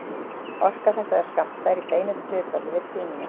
Orka þessara skammta er í beinu hlutfalli við tíðnina.